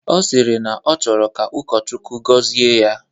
Ọ sịrị na ọ chọrọ ka ụkọchukwu gọzie ya